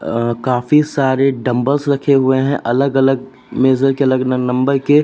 अं काफी सारे डंबल्स रखे हुए हैं अलग अलग मेजर के अलग अलग नंबर के।